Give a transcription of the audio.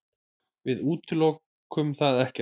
Við útilokum það ekkert.